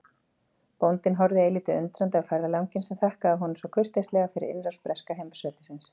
Bóndinn horfði eilítið undrandi á ferðalanginn sem þakkaði honum svo kurteislega fyrir innrás breska heimsveldisins.